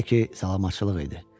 Hələ ki salamçılıq idi.